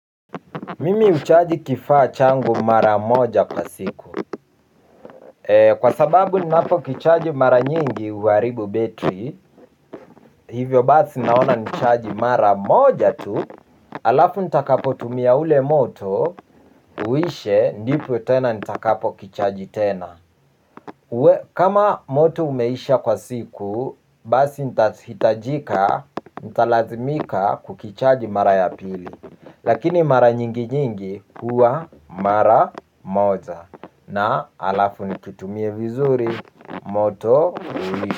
Mimi huchaji kifaa changu mara moja kwa siku. Kwa sababu ninapo kichaji mara nyingi, huwaribu betri. Hivyo basi naona nichaji mara moja tu, alafu ntakapo tumia ule moto, uishe, ndipo tena ntakapo kichaji tena. Kama moto umeisha kwa siku, basi nitahitajika, ntalazimika kukichaji mara ya pili. Lakini mara nyingi nyingi huwa mara moja na alafu nikitumie vizuri moto ulisha.